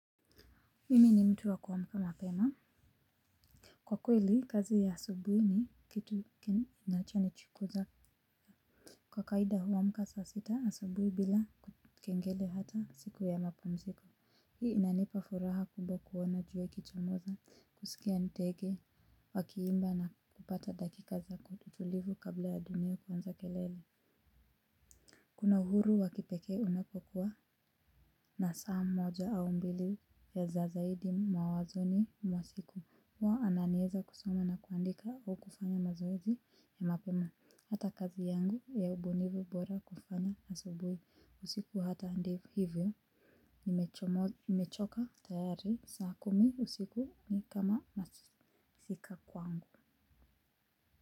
Mimi ni mtu wa kuamka mapema. Kwa kweli kazi ya asubuhi ni kitu chenye kinachonichukuza. Kwa kawida huamka saa sita asubuhi bila kekengele hata siku ya mapumziko. Hii inanipa furaha kubwa kuona jua ikichomoza kusikia ndege wakiimba na kupata dakika za utulivu kabla ya dunia kuanza kelele. Kuna uhuru wa kipekee unapokuwa na saa moja au mbili ya zaidi mawazoni mwa siku huwa ananieza kusoma na kuandika au kufanya mazoezi ya mapema, hata kazi yangu ya ubunifu bora kufanya asubuhi, usiku hata ndivyo hivyo, nimechoka tayari, saa kumi usiku mi kama masika kwangu.